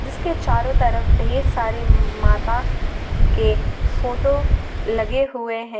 इसके चारों तरफ ढेर सारे माता के फोटो लगे हुए हैं।